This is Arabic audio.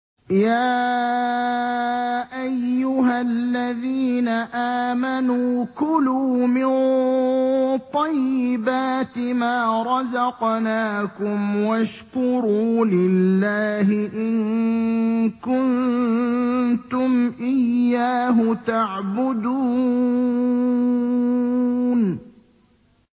يَا أَيُّهَا الَّذِينَ آمَنُوا كُلُوا مِن طَيِّبَاتِ مَا رَزَقْنَاكُمْ وَاشْكُرُوا لِلَّهِ إِن كُنتُمْ إِيَّاهُ تَعْبُدُونَ